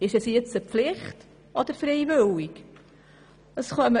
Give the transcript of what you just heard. Ist es nun eine Pflicht, oder ist es freiwillig?